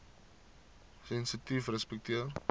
sensitiefrespekteer